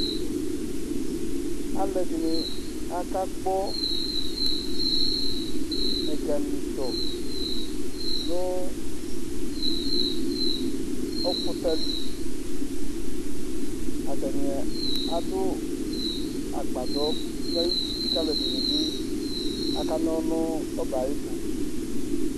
alʊ ɛdínì akagbò ɛgamìtò nʊ ófʊtalì atani adʊ agbadò ayʋtí alʊ ɛdinibi akanòlʊ nʋ òbɛ ayɛtʊ